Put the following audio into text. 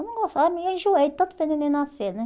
eu não gostava, eu me enjoei de tanto ver neném nascer né